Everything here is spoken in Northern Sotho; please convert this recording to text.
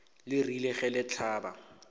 le rile ge le hlaba